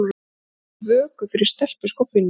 Við höldum vöku fyrir stelpuskoffíninu.